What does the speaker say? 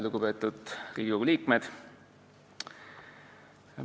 Lugupeetud Riigikogu liikmed!